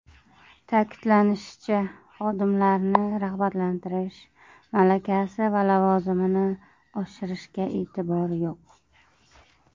Ta’kidlanishicha, xodimlarni rag‘batlantirish, malakasi va lavozimini oshirishga e’tibor yo‘q.